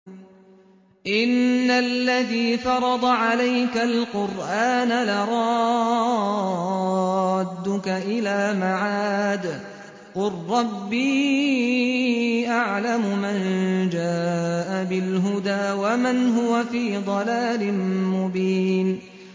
إِنَّ الَّذِي فَرَضَ عَلَيْكَ الْقُرْآنَ لَرَادُّكَ إِلَىٰ مَعَادٍ ۚ قُل رَّبِّي أَعْلَمُ مَن جَاءَ بِالْهُدَىٰ وَمَنْ هُوَ فِي ضَلَالٍ مُّبِينٍ